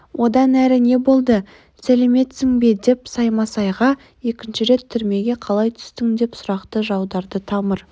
одан әрі не болды сәлемдестің бе саймасайға екінші рет түрмеге қалай түстің деп сұрақты жаудырды тамыр